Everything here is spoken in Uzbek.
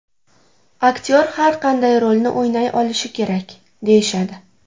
Aktyor har qanday rolni o‘ynay olishi kerak, deyishadi.